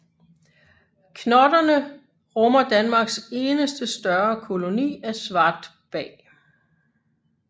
Knotterne rummer Danmarks eneste større koloni af svartbag